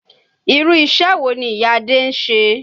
Irú iṣẹ́ wo ni ìyá Adé ń ṣe?